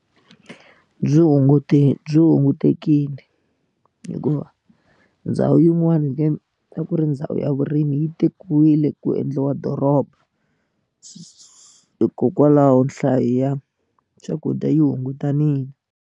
Byi hunguti byi hungutekile hikuva ndhawu yin'wani ka a ku ri ndhawu ya vurimi yi tekiwile ku endliwa doroba hikokwalaho nhlayo ya swakudya yi hungutanile.